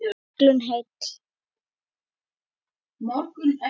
Sigldu heill.